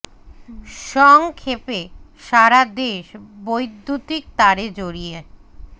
song ক্ষে পে সা রা দে শ বৈদ্যুতিক তারে জড়িয়ে